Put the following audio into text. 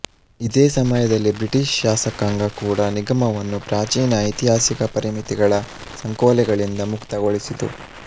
ಇದೇ ಸಮಯದಲ್ಲಿ ಬ್ರಿಟಿಷ್ ಶಾಸಕಾಂಗ ಕೂಡ ನಿಗಮವನ್ನು ಪ್ರಾಚೀನ ಐತಿಹಾಸಿಕ ಪರಿಮಿತಿಗಳ ಸಂಕೋಲೆಗಳಿಂದ ಮುಕ್ತಗೊಳಿಸಿತು